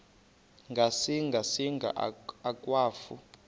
ngasinga singa akwafu